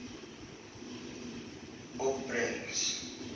opbrengs